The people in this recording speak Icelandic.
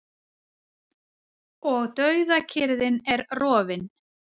Og dauðakyrrðin er rofin.